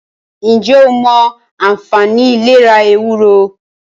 ǹjẹ́ o mọ anfààní ìlera “ ewúro ”.?